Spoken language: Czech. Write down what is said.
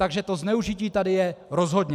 Takže to zneužití tady je rozhodně.